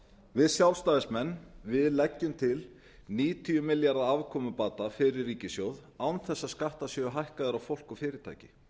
við sjálfstæðismenn leggjum til níutíu milljónir króna afkomubata fyrir ríkissjóð án þess að skattar séu hækkaðir á fólk og fyrirtæki